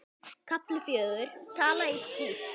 KAFLI FJÖGUR Tala ég skýrt?